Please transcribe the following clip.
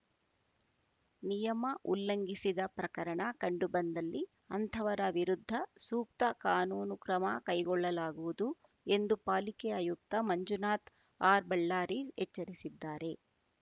ನಿಯಮ ಉಲ್ಲಂಘಿಸಿದ ಪ್ರಕರಣ ಕಂಡುಬಂದಲ್ಲಿ ಅಂಥವರ ವಿರುದ್ಧ ಸೂಕ್ತ ಕಾನೂನು ಕ್ರಮ ಕೈಗೊಳ್ಳಲಾಗುವುದು ಎಂದು ಪಾಲಿಕೆ ಆಯುಕ್ತ ಮಂಜುನಾಥ ಆರ್‌ಬಳ್ಳಾರಿ ಎಚ್ಚರಿಸಿದ್ದಾರೆ